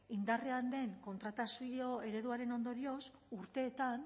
indarrean den kontratazio ereduaren ondorioz urteetan